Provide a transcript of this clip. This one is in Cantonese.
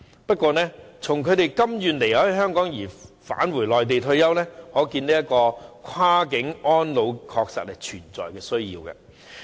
不過，從他們甘願離開香港返回內地退休的情況可見，跨境安老安排確實有存在的需要。